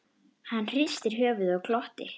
Hann hristi höfuðið og glotti.